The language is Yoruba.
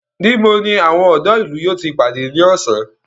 Níbo ni àwọn ọ̀dọ́ ìlú yóò ti pàdé ní ọ̀sán?